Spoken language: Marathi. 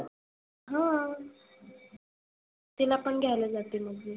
हां तीला पण घ्यायला जाते मग मी.